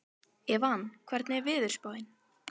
Evan, hvernig er veðurspáin?